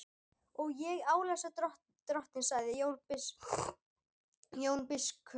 Og ég álasa drottni, sagði Jón biskup.